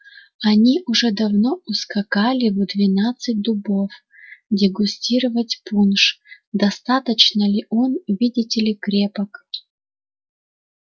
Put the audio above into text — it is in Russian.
они уже давно ускакали в двенадцать дубов дегустировать пунш достаточно ли он видите ли крепок